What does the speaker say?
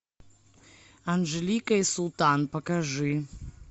анжелика и султан покажи